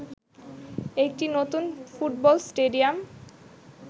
একটি নতুন football stadium